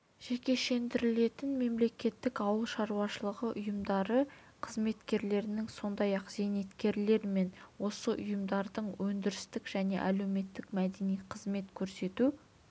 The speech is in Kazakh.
жекешелендірілетін мемлекеттік ауыл шаруашылығы ұйымдары қызметкерлерінің сондай-ақ зейнеткерлер мен осы ұйымдардың өндірістік және әлеуметтік-мәдени қызмет көрсету